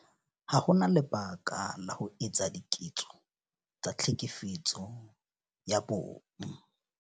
Ha ho na lebaka la ho etsa diketso tsa Tlhekefetso ya Bong.